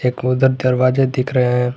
एक उधर दरवाजे दिख रहे हैं।